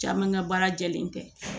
Caman ŋa baara jɛlen tɛ